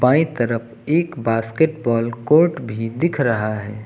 दाई तरफ एक basketball court भी दिख रहा है।